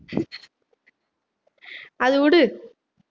அதை வுடு